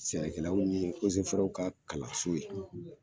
Sɛnɛkɛllaw ni ka kalanso ye